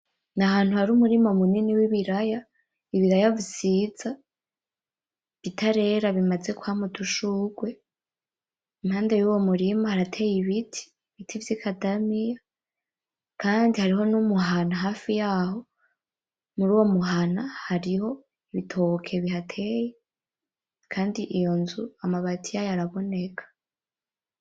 Ni ahantu hari umurima munini w'ibiraya, ibiraya bisiza, bitarera bimaze kwama udushurwe, mpande yuwo murima harateye ibiti, ibiti vy'ikadamiya, kandi hariho n'umuhana hafi yaho. Muri uwo muhana hariho ibitoke bihateye, kandi iyo nzu amabati yayo araboneka